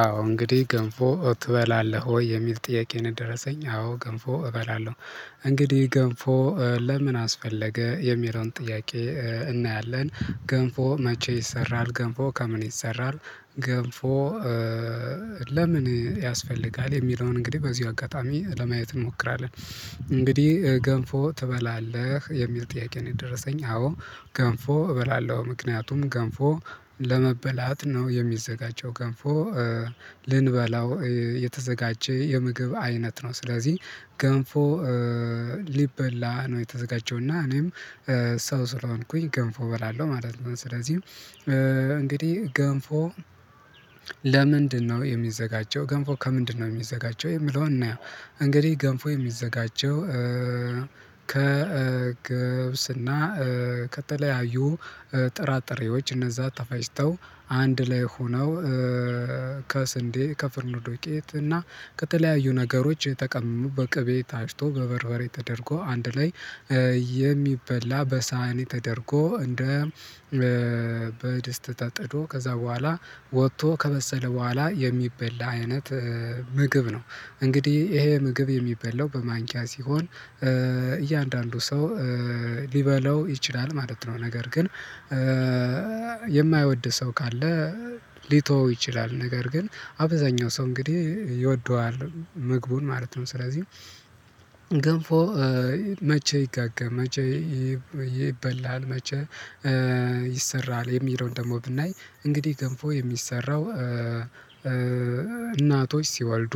አዎ እንግዲህ ገንፎ ትበላለሁ ወይ የሚል ጥያቄ ነው? ደረሰኝ አዎ ገንፎ እበላለሁ። እንግዲህ ገንፎ ለምን አስፈለገ የሚለውን ጥያቄ እናያለን። ገንፎ መቼ ይሰራል ገንፎ ከምን ይሰራል? ገንፎ ለምን ያስፈልጋል የሚለውን እንግዲህ በዚሁ አጋጣሚ ለማየት እንሞክራለን። እንግዲህ ገንፎ ትበላለህ የሚል ጥያቄ ነው የደረሰኝ አዎ? ገንፎ እበላለሁ ምክንያቱም ገንፎ ለመበላት ነው የሚዘጋጀው ገንፎ ልንበላው የተዘጋጀ የምግብ አይነት ነው። ስለዚህ ገንፎ ሊበላ ነው የተዘጋጀው እና እኔም ሰው ስለሆንኩኝ ገንፎ እበላለሁ ማለት ነው። ስለዚህ እንግዲህ ገንፎ ለምንድነው የሚዘጋጀው ገንፎ ከምንድነው የሚዘጋጀው የሚለውን እናየው? እንግዲህ ገንፎ የሚዘጋጀው ከገብስና ከተለያዩ ጥራጥሬዎች እነዛ ተፈጭተው አንድ ላይ ሆነው ከስንዴ ከፍርኖ ዱቄት እና ከተለያዩ ነገሮች ተቀምመው በቅቤ ታጭቶ በበርበሬ ተደርጎ አንድ ላይ የሚበላ በሳህን ተደርጎ እንደ በደስት ተጥዶ ከዛ በኋላ ወጥቶ ከበሰለ በኋላ የሚበላ አይነት ምግብ ነው። እንግዲህ ይሄ ምግብ የሚበላው በማንኪያ ሲሆን እያንዳንዱ ሰው ሊበላው ይችላል ማለት ነው። ነገር ግን የማይወድ ሰው ካለ ሊተወው ይችላል ነገር ግን አብዛኛው ሰው እንግዲህ ይወደዋል ምግቡን ማለት ነው። ስለዚህ ገንፎ መቼ ይጋጋ መቼ ይበላል መቼ ይሰራል የሚለውን ደግሞ ብናይ እንግዲህ ገንፎ የሚሰራው እናቶች ሲወልዱ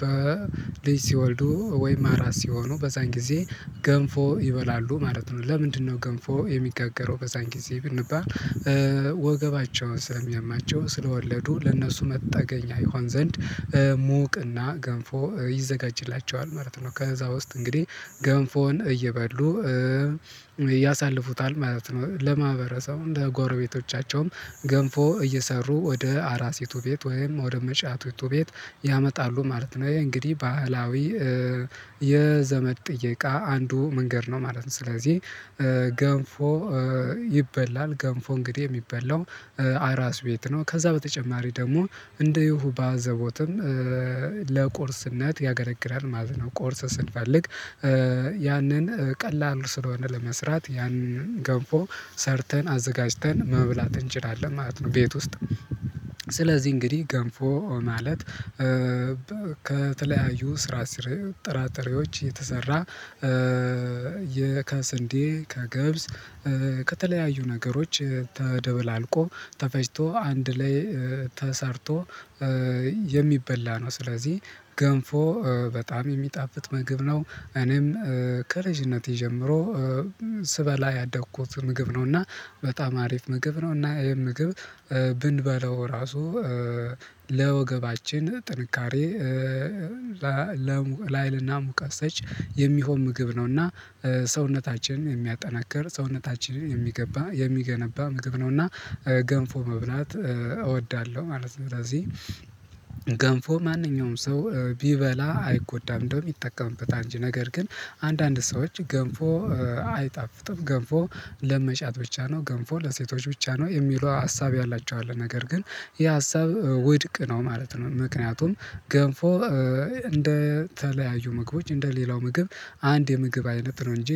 በልጅ ሲወልዱ ወይም አራስ ሲሆኑ በዛን ጊዜ ገንፎ ይበላሉ ማለት ነው። ለምንድነው ገንፎ የሚጋገረው በዛን ጊዜ ብንባል ወገባቸውን ስለሚያማቸው ስለወለዱ ለእነሱ መጠገኛ ይሆን ዘንድ ሞቅና ገንፎ ይዘጋጅላቸዋል ማለት ነው። ከዛ ውስጥ እንግዲህ ገንፎን እየበሉ ያሳልፉታል ማለት ነው። ለማህበረሰቡ ለጎረቤቶቻቸውም ገንፎ እየሰሩ ወደ አራሲቱ ቤት ወይም ወደ መጫቲቱ ቤት ያመጣሉ ማለት ነው ይሄ እንግዲህ ባህላዊ የዘመድ ጥይቃ አንዱ መንገድ ነው ማለት ነው። ስለዚህ ገንፎ ይበላል ገንፎ እንግዲህ የሚበላው አራስ ቤት ነው ከዛ በተጨማሪ ደግሞ እንደ ይሁ ባዘቦትም ለቁርስነት ያገለግላል ማለት ነው። ቁርስ ስንፈልግ ያንን ቀላል ስለሆነ ለመስራት ያንን ገንፎ ሰርተን አዘጋጅተን መብላት እንችላለን ማለት ነው። ቤት ውስጥ ስለዚህ እንግዲህ ገንፎ ማለት ከተለያዩ ስራስር ጥራጥሬዎች የተሰራ ከስንዴ ከገብስ ከተለያዩ ነገሮች ተደበላልቆ ተፈጭቶ አንድ ላይ ተሰርቶ የሚበላ ነው። ስለዚህ ገንፎ በጣም የሚጣፍጥ ምግብ ነው። እኔም ከልጅነቴ ጀምሮ ስበላ ያደኩት ምግብ ነው። እና በጣም አሪፍ ምግብ ነው። እና ይሄን ምግብ ብንበላው ራሱ ለወገባችን ጥንካሬ ላሀይልና ሙቀት ሰጪ የሚሆን ምግብ ነው። እና ሰውነታችንን የሚያጠናክር ሰውነታችንን የሚገባ የሚገነባ ምግብ ነው። እና ገንፎ መብላት እወዳለሁ ማለት ነው። ስለዚህ ገንፎ ማንኛውም ሰው ቢበላ አይጎዳም እንደውም ይጠቀምበታል እንጂ ነገር ግን አንዳንድ ሰዎች ገንፎ አይጣፍጥም ገንፎ ለመጫት ብቻ ነው። ገንፎ ለሴቶች ብቻ ነው የሚሉ ሀሳብ ያላቸው አለ ነገር ግን የሀሳብ ውድቅ ነው ማለት ነው። ምክንያቱም ገንፎ እንደ ተለያዩ ምግቦች እንደ ሌላው ምግብ አንድ የምግብ አይነት ነው። እንጂ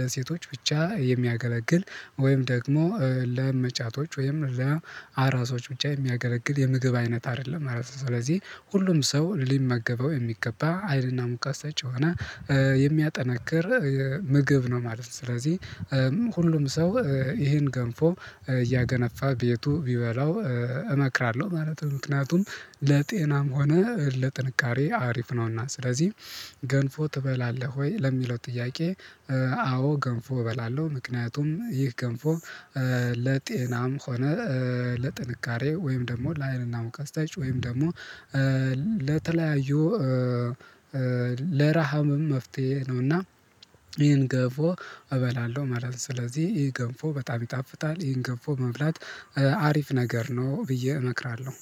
ለሴቶች ብቻ የሚያገለግል ወይም ደግሞ ለመጫቶች ወይም ለአራሶች ብቻ የሚያገለግል የምግብ አይነት አይደለም። ማለት ስለዚህ ሁሉም ሰው ሊመገበው የሚገባ ሀይልና ሙቀት ሰጪ የሆነ የሚያጠነክር ምግብ ነው ማለት ነው። ስለዚህ ሁሉም ሰው ይሄን ገንፎ እያገነፋ ቤቱ ቢበላው እመክራለሁ ማለት ነው። ምክንያቱም ለጤናም ሆነ ለጥንካሬ አሪፍ ነውና። ስለዚህ ገንፎ ትበላለህ ወይ ለሚለው ጥያቄ? አዎ ገንፎ እበላለሁ ምክንያቱም ይህ ገንፎ ለጤናም ሆነ ለጥንካሬ ወይም ደግሞ ለአይንና ሙቃት ሰጪ ወይም ደግሞ ለተለያዩ ለረሃብም መፍትሄ ነው እና ይሄን ገንፎ እበላለሁ ማለት ነው። ስለዚህ ይህ ገንፎ በጣም ይጣፍጣል ይህን ገንፎ መብላት አሪፍ ነገር ነው ብዬ እመክራለሁ።